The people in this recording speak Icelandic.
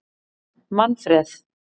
Manfred